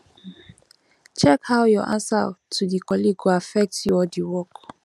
check how your answer to di colleague go affect you or di work